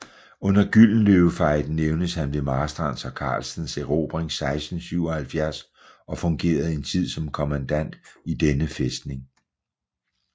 Under Gyldenløvefejden nævnes han ved Marstrands og Carlstens erobring 1677 og fungerede en tid som kommandant i denne fæstning